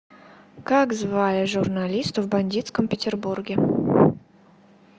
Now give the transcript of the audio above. как звали журналиста в бандитском петербурге